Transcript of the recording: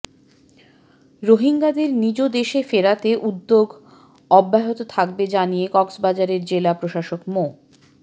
রোহিঙ্গাদের নিজ দেশে ফেরাতে উদ্যোগ অব্যাহত থাকবে জানিয়ে কক্সবাজারের জেলা প্রশাসক মো